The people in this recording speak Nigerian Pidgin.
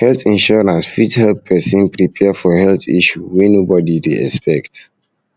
health insurance fit help person prepare for health issue wey nobody dey expect